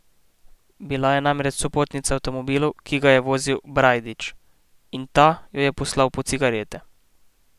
Bila je namreč sopotnica v avtomobilu, ki ga je vozil Brajdič, in ta jo je poslal po cigarete.